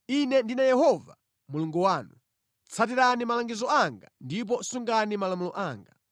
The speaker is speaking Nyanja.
Ine ndine Yehova Mulungu wanu; tsatirani malangizo anga ndipo sungani malamulo anga.